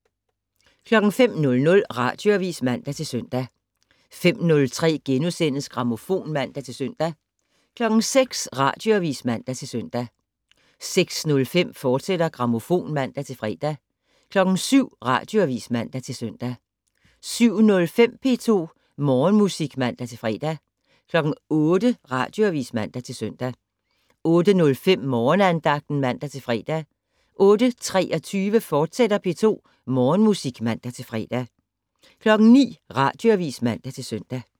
05:00: Radioavis (man-søn) 05:03: Grammofon *(man-søn) 06:00: Radioavis (man-søn) 06:05: Grammofon, fortsat (man-fre) 07:00: Radioavis (man-søn) 07:05: P2 Morgenmusik (man-fre) 08:00: Radioavis (man-søn) 08:05: Morgenandagten (man-fre) 08:23: P2 Morgenmusik, fortsat (man-fre) 09:00: Radioavis (man-søn)